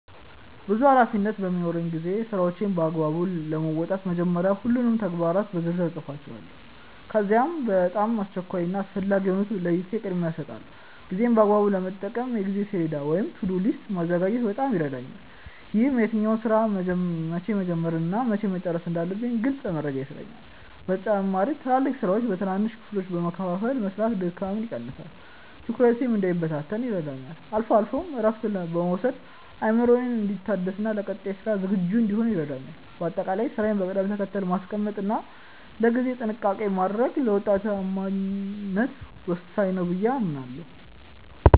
ብዙ ኃላፊነቶች በሚኖሩኝ ጊዜ ስራዎቼን በአግባቡ ለመወጣት መጀመሪያ ሁሉንም ተግባራት በዝርዝር እጽፋቸዋለሁ። ከዚያም በጣም አስቸኳይ እና አስፈላጊ የሆኑትን ለይቼ ቅድሚያ እሰጣቸዋለሁ። ጊዜዬን በአግባቡ ለመጠቀም የጊዜ ሰሌዳ ወይም "To-do list" ማዘጋጀት በጣም ይረዳኛል። ይህም የትኛውን ስራ መቼ መጀመር እና መቼ መጨረስ እንዳለብኝ ግልጽ መረጃ ይሰጠኛል። በተጨማሪም ትላልቅ ስራዎችን በትንንሽ ክፍሎች በመከፋፈል መስራት ድካምን ይቀንሳል፤ ትኩረቴም እንዳይበታተን ይረዳኛል። አልፎ አልፎም እረፍት መውሰድ አእምሮዬ እንዲታደስና ለቀጣይ ስራ ዝግጁ እንድሆን ያደርገኛል። በአጠቃላይ ስራን በቅደም ተከተል ማስቀመጥ እና ለጊዜ ጥንቃቄ ማድረግ ለውጤታማነት ወሳኝ ነው ብዬ አምናለሁ።